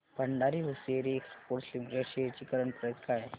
Bhandari hosiery exports limited shares ची current price काय आहे